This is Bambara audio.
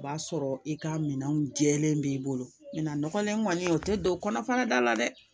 O b'a sɔrɔ i ka minɛnw jɛlen b'i bolo min na nɔgɔnlen kɔni o tɛ don kɔnɔ fara da la dɛ